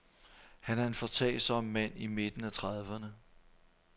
Han er en foretagsom mand i midten af trediverne.